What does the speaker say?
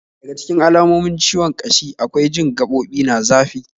Daga cikin alamomin ciwon kashi akwai jin gaɓoɓi na zafi